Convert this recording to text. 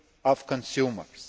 of consumers.